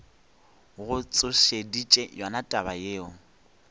go tsošeditše yona taba yeo